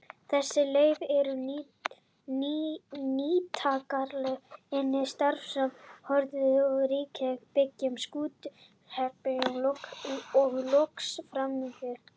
Þessi leyfi eru nýtingarleyfi iðnaðarráðherra, starfsleyfi Hollustuverndar ríkisins, byggingarleyfi Skútustaðahrepps og loks framkvæmdaleyfi.